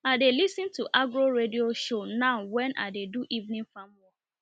i dey lis ten to agro radio shows now when i dey do evening farm work